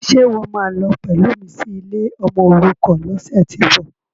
Ṣe ìwọ́ máa lọ pẹ̀lú mi sí ilé ọmọòrukàn lọ́sẹ̀tíbọ̀?